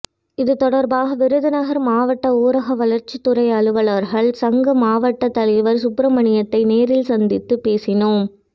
இது தொடர்பாக விருதுநகர் மாவட்ட ஊரக வளர்ச்சித்துறை அலுவலர்கள் சங்க மாவட்ட தலைவர் சுப்பிரமணியத்தை நேரில் சந்தித்து பேசினோம்